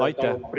Aitäh!